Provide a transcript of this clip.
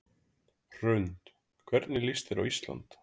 Hrund: Hvernig líst þér á Ísland?